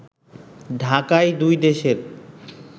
ঢাকায় দুই দেশের